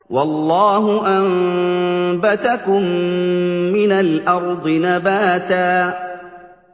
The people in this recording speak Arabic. وَاللَّهُ أَنبَتَكُم مِّنَ الْأَرْضِ نَبَاتًا